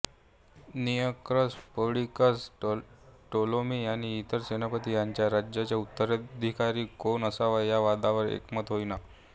Nearchus Perdiccas Ptolemy आणि इतर सेनापती यांचे राज्याचा उत्तराधिकारी कोण असावा या वादावर एकमत होईना